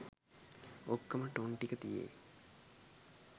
ඔක්කම tone ටික තියෙයි.